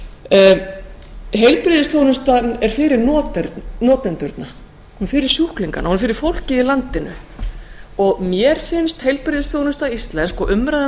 heilbrigðisstofnunum heilbrigðisþjónustan er fyrir notendurna hún er fyrir sjúklingana og fyrir fólkið í landinu mér finnst heilbrigðisþjónusta íslensk og umræða um